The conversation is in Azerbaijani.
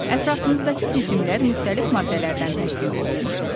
Ətrafımızdakı cisimlər müxtəlif maddələrdən təşkil olunmuşdu.